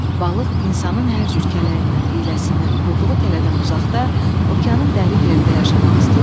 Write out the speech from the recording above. Balıq insanın hər cür kələyindən, hiyləsindən, qurduğu tələdən uzaqda okeanın dərin yerində yaşamaq istəyirdi.